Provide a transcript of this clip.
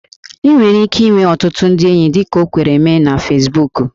Ị nwere ike inwe ọtụtụ ndị enyi dịka o kwere mee na Fesbuku